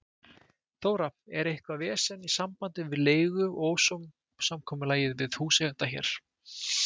Þóra: Er eitthvað vesen í sambandi við leigu eða ósamkomulag við húseiganda hér?